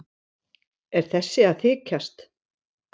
Er þessi að þykjast?